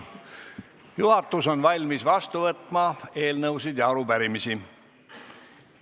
Juhatus on valmis vastu võtma eelnõusid ja arupärimisi.